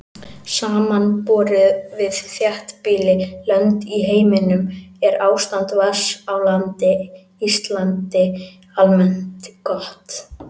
Samanborið við þéttbýlli lönd í heiminum er ástand vatns á Íslandi almennt gott.